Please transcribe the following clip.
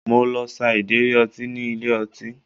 Mo lọ sa ìdérí ọtí ní ilé ọtí